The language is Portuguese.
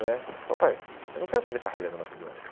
né Ele falou, pai, eu não quero fazer carreira no McDonald's.